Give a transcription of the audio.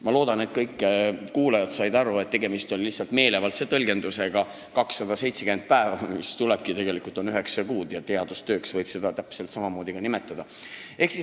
Ma loodan, et kõik kuulajad said aru, et tegemist on lihtsalt meelevaldse tõlgendusega: 270 päeva ehk siis üheksa kuud, ja teadustööks võib seda ka nimetada.